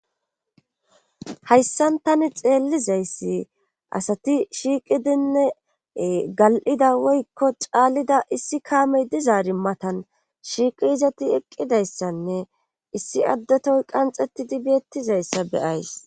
hayssan tani xeellizayssi asati shiiqidinne gal7ida woykko caalida issi kaamey dizaari matan shiiqi izati eqqidayssanne issi addatoy qanxetidi biettizayssa beyays